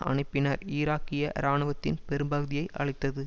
அனுப்பி பின்னர் ஈராக்கிய இராணுவத்தின் பெரும்பகுதியை அழித்தது